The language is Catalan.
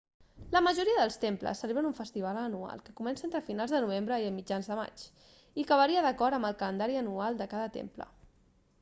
la majoria dels temples celebren un festival anual que comença entre finals de novembre i mitjans de maig i que varia d'acord amb el calendari anual de cada temple